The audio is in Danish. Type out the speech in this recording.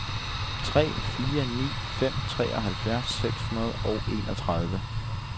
tre fire ni fem treoghalvfjerds seks hundrede og enogtredive